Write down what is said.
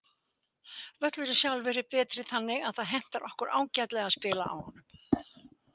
Völlurinn sjálfur er betri þannig að það hentar okkur ágætlega að spila á honum.